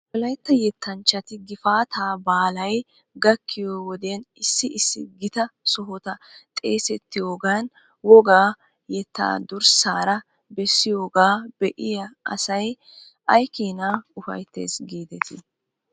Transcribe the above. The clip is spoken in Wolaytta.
Wolaytta yettanchchati gifaataa baalay gakkiyoo wodiyan issi issi gita sohota xeesettihoogan wogaa yettaa dursaara bessigoogaa be'iyaa asay aykeenaa ufayttes giidetii?